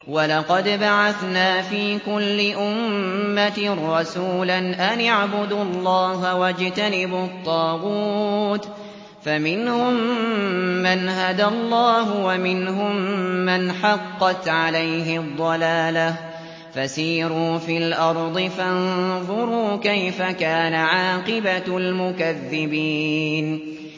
وَلَقَدْ بَعَثْنَا فِي كُلِّ أُمَّةٍ رَّسُولًا أَنِ اعْبُدُوا اللَّهَ وَاجْتَنِبُوا الطَّاغُوتَ ۖ فَمِنْهُم مَّنْ هَدَى اللَّهُ وَمِنْهُم مَّنْ حَقَّتْ عَلَيْهِ الضَّلَالَةُ ۚ فَسِيرُوا فِي الْأَرْضِ فَانظُرُوا كَيْفَ كَانَ عَاقِبَةُ الْمُكَذِّبِينَ